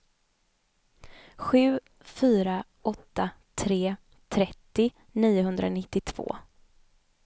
sju fyra åtta tre trettio niohundranittiotvå